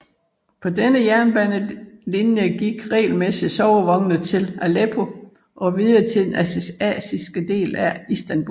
På denne jernbanelinje gik regelmæssigt sovevogne til Aleppo og videre til den asiatiske del af Istanbul